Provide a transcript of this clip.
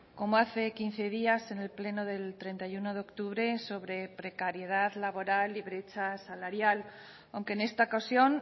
como hace quince días en el pleno del treinta y uno de octubre sobre precariedad laboral y brecha salarial aunque en esta ocasión